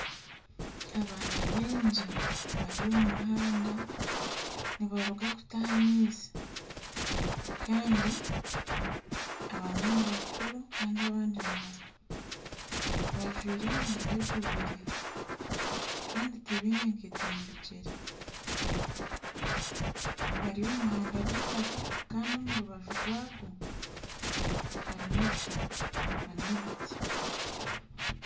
Abaana baingi bari omu muhanda nibaruga kutaha amaizi. Kandi abamwe ni bakuru kandi abandi ni bato. Bajwaire emyenda egubire, kandi tibaine nkaito mu bigyere. Bari omu muhanda gw'eitaka kandi omu rubaju rwagwo harimu ebishaka n'ebiti.